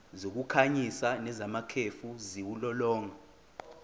zokukhanyisa nezamakhefu ziwulolonga